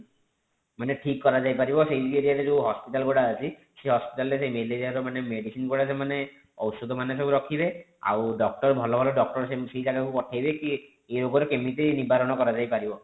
ମାନେ ଠିକ କରାଯାଇ ପାରିବ ସେଇ area ରେ ଯେଉଁ hospital ଗୁଡାକ ଅଛି ସେଇ hospital ରେ ସେ ମେଲେରୀୟା ର ମାନେ medicine ଗୁଡା ସେମାନେ ଔଷଧ ମାନେ ସବୁ ରଖିବେ ଆଉ doctor ଭଲ ଭଲ doctor ସେଇ ଜାଗା କୁ ପଠେଇବେ କି ଏ ରୋଗର କେମିତି ନିବାରଣ କର ଯାଇ ପାରିବ